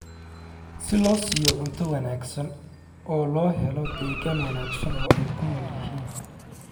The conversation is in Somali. si loo siiyo cunto wanaagsan oo loo helo deegaan wanaagsan oo ay ku nool yihiin.